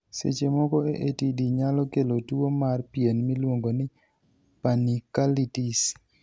Seche moko, AATD nyalo kelo tuwo mar pien miluongo ni panniculitis.